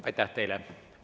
Aitäh teile!